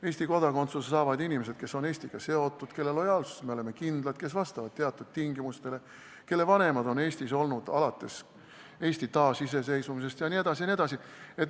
Eesti kodakondsuse saavad need inimesed, kes on Eestiga seotud, kelle lojaalsuses me oleme kindlad, kes vastavad teatud tingimustele, kelle vanemad on Eestis olnud alates Eesti taasiseseisvumisest jne.